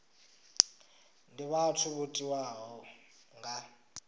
ndi vhathu vho tiwaho nga